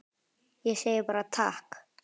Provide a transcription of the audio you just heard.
Ég segi bara takk.